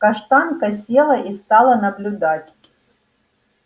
каштанка села и стала наблюдать